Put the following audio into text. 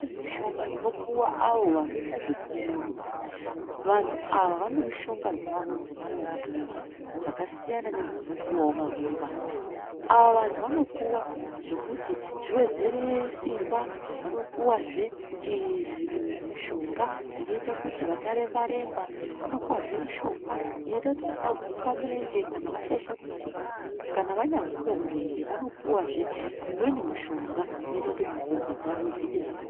Mishonga inopuva avo vanoita zvekurumba vantu ava vane mishonga dzavo dzavanopuva dzakasiyanavo nedzinopuva vamweni vantu. Ava vantu vanopuva zvekuti zvivedzere simba vanopuvazve zvimushanga inoita kuti vasaremba-remba, vanopuvazve mushonga unoita kuti vasaguka murenje kanavashaisha kutsika. Kana vanyaguka murenje vanopuvazve umweni mushonga unoita kuti mukumbo dzavo dziite zvakanaka.